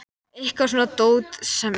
Óar við að fara að halda sýningu á þessu.